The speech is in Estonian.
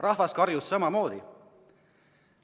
Rahvas karjus samamoodi.